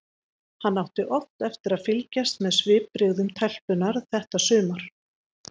Hann átti oft eftir að fylgjast með svipbrigðum telpunnar þetta sumar.